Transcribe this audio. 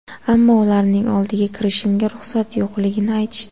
Ammo ularning oldiga kirishimga ruxsat yo‘qligini aytishdi.